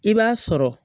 I b'a sɔrɔ